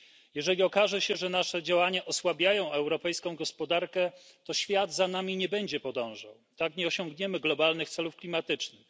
Jeżeli okaże się, że nasze działania osłabiają gospodarkę europejską, to świat za nami nie będzie podążał, tak nie osiągniemy globalnych celów klimatycznych.